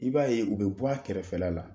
I b'a ye, u bɛ bɔ a kɛrɛfɛla la